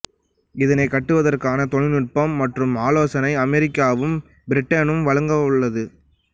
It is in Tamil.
இதனை கட்டுவதற்கான தொழில்நுட்பம் மற்றும் ஆலோசனையை அமெரிக்காவும் பிரிட்டனும் வழங்க உள்ளது